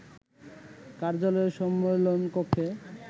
কার্যালয়ের সম্মেলন কক্ষে